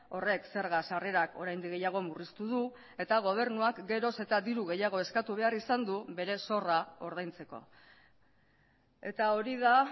horrek zerga sarrerak oraindik gehiago murriztu du eta gobernuak geroz eta diru gehiago eskatu behar izan du bere zorra ordaintzeko eta hori da